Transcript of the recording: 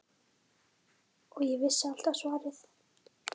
Og ég vissi alltaf svarið.